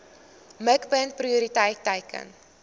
mikpunt prioriteit teiken